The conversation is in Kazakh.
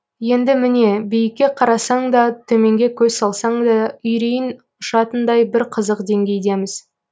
енді міне биікке қарасаң да төменге көз салсаң да үрейің ұшатындай бір қызық деңгейдеміз